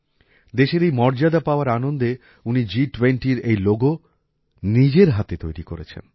দেশের এই মর্যাদা পাওয়ার আনন্দে উনি জিটুয়েন্টির এই লোগো নিজের হাতে তৈরি করেছেন